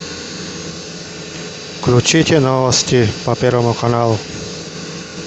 включите новости по первому каналу